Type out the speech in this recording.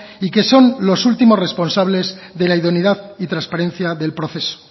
y que son los últimos responsables de la idoneidad y transparencia del proceso